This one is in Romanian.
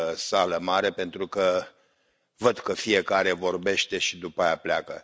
sală mare pentru că văd că fiecare vorbește și după aceea pleacă.